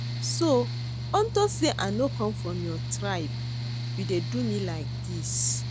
So unto say I no come from your tribe you dey do me like dis